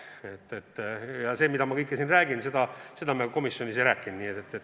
Ütlen ausalt ära, et seda, mida ma kõike siin räägin, me komisjonis ei rääkinud.